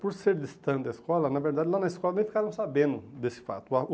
Por ser distante da escola, na verdade lá na escola nem ficaram sabendo desse fato.